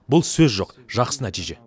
бұл сөз жоқ жақсы нәтиже